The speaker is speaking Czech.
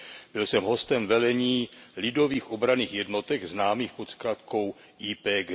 Byl jsem hostem velení Lidových obranných jednotek známých pod zkratkou YPG.